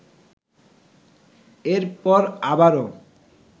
এর পর আবারও